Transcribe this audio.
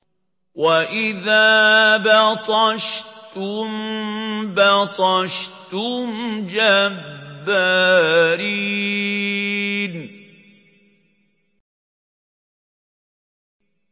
وَإِذَا بَطَشْتُم بَطَشْتُمْ جَبَّارِينَ